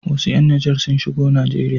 Wasu ƴan Nijar sun shigo Najeriya.